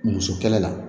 Muso kɛlɛ la